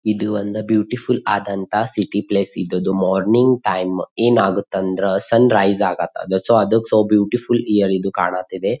ಇದು ಒಂದ ಬ್ಯೂಟಿಫುಲ್ ಆದಂಥ ಸಿಟಿ ಪ್ಲೇಸ್ ಇದ್ದದು ಮಾರ್ನಿಂಗ್ ಟೈಮ್ ಏನಾಗುತ್ತೆ ಅಂದ್ರ ಸನ್ ರೈಸ್ ಆಗುತ್ತಾ ಅದು ಸೊ ಅದ್ಕ ಬ್ಯೂಟಿಫುಲ್ ಇಯರ್ ಇದು ಕಾಣುತ್ತಿದೆ.